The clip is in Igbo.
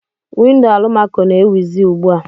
Windo alụmako na-ewizi ugbua.